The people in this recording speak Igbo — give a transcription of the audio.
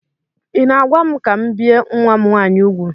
Ị na-agwa m ka m bie nwa m nwaanyị úgwù?